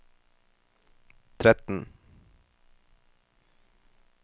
tretten